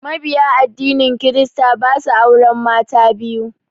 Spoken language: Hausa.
Mabiya addinin kirista ba su auren mata biyu.